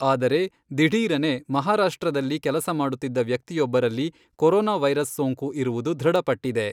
ಆದರೆ, ದಿಢೀರನೆ ಮಹಾರಾಷ್ಟ್ರದಲ್ಲಿ ಕೆಲಸ ಮಾಡುತ್ತಿದ್ದ ವ್ಯಕ್ತಿಯೊಬ್ಬರಲ್ಲಿ ಕೊರೊನಾ ವೈರಸ್ ಸೋಂಕು ಇರುವುದು ದೃಢಪಟ್ಟಿದೆ.